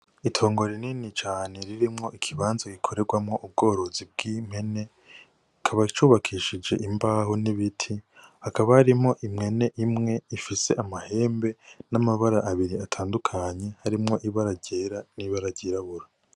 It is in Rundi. Itongo rinini cane ririmwo ikibanza kirimwo ubworozi bw'impene, kikaba cubakishijwe imbaho n'ibiti hakaba harimwo impene imwe ifise amahembe n'amabara abiri atandukanye harimwo ibara ryera n'ibara ryirabura.